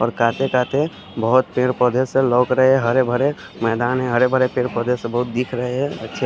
और काते काते बोहोत पेड़ पोधे से लग रहे है हरे भरे मैदान है हरे भरे पेड़ पोधे से बोहोत दिख रहे है अच्छे--